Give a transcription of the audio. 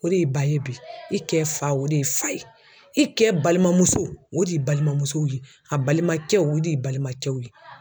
O de y'i ba ye bi i kɛ fa o de ye fa ye i kɛ balimamuso o de balimamusow ye a balimakɛw o de y'i balimankɛw ye.